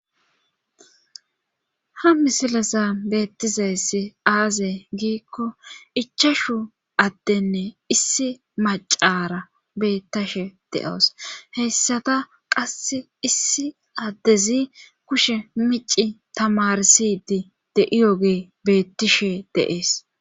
Ha misilasa beettizayssi aaze giikko ichashu addenne issi macara beettashe de,oos heyssada qasse issi addezi kushe mici tamarsidi de,iyoge beettishe deees.